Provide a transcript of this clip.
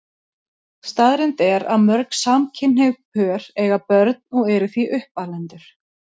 Staðreynd er að mörg samkynhneigð pör eiga börn og eru því uppalendur.